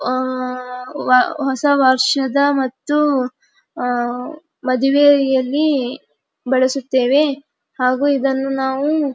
ಅಹ್ ವ ಹೊಸ ವರ್ಷದ ಮತ್ತು ಅಹ್ ಮದುವೆಯಲ್ಲಿ ಬಳಸುತ್ತೇವೆ ಹಾಗು ಇದನ್ನು ನಾವು --